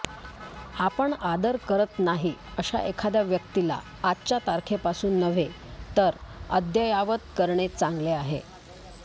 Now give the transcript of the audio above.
आपण आदर करत नाही अशा एखाद्या व्यक्तीला आजच्या तारखेपासून नव्हे तर अद्ययावत करणे चांगले आहे